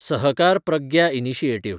Sahakar Pragya initiative